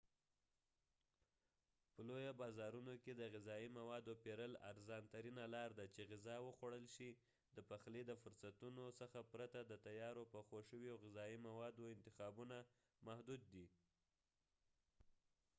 په لویو بازارونو کې د غذایی موادو پیرل ارزان ترینه لار ده چې غذا وخوړل شي د پخلي د فرصتونو څخه پرته د تیارو پخو شویو غذایی موادو انتخابونه محدود دي